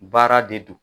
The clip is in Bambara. Baara de don